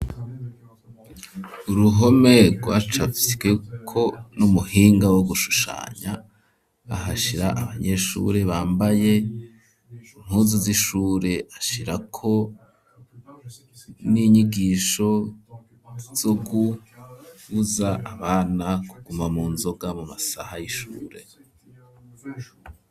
Uruhome rwacafywe ko n'umuhinga wo gushushanya ahashira abanyeshure bambaye impuzu z'ishure ashirako n'inyigisho zo gubuza abana kuguma mu nzoga mu masaha y'ishure.